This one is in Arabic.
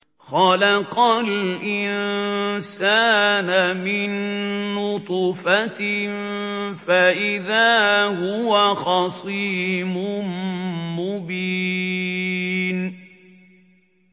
خَلَقَ الْإِنسَانَ مِن نُّطْفَةٍ فَإِذَا هُوَ خَصِيمٌ مُّبِينٌ